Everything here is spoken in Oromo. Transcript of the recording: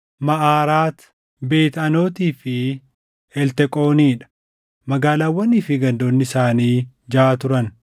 Maʼaaraati, Beet Anootii fi Elteqoonii dha; magaalaawwanii fi gandoonni isaanii jaʼa turan.